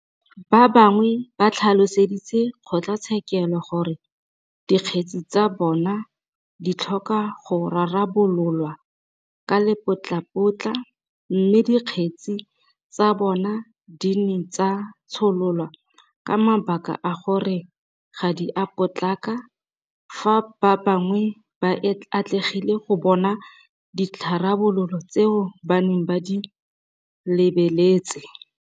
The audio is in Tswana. Ba bangwe ba tlhaloseditse kgotlatshekelo gore dikgetse tsa bona di tlhoka go rarabololwa ka lepotlapotla mme dikgetse tsa bona di ne tsa tshololwa ka mabaka a gore ga di a potlaka fa ba bangwe ba atlegile go bona ditharabololo tseo ba neng ba di lebeletse.